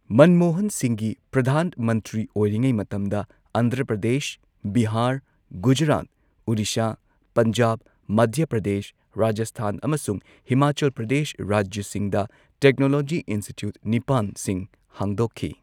ꯃꯟꯃꯣꯍꯟ ꯁꯤꯡꯍꯒꯤ ꯄ꯭ꯔꯙꯥꯟ ꯃꯟꯇ꯭ꯔꯤ ꯑꯣꯏꯔꯤꯉꯩ ꯃꯇꯝꯗ ꯑꯟꯙ꯭ꯔ ꯄ꯭ꯔꯗꯦꯁ, ꯕꯤꯍꯥꯔ, ꯒꯨꯖꯔꯥꯠ, ꯑꯣꯔꯤꯁꯥ, ꯄꯟꯖꯥꯕ, ꯃꯙ꯭ꯌ ꯄ꯭ꯔꯗꯦꯁ, ꯔꯥꯖꯁꯊꯥꯟ, ꯑꯃꯁꯨꯡ ꯍꯤꯃꯥꯆꯜ ꯄ꯭ꯔꯗꯦꯁ ꯔꯥꯖ꯭ꯌꯁꯤꯡꯗ ꯇꯦꯛꯅꯣꯂꯣꯖꯤ ꯏꯟꯁꯇꯤꯇ꯭ꯌꯨꯠ ꯅꯤꯄꯥꯟꯁꯤꯡ ꯍꯥꯡꯗꯣꯛꯈꯤ꯫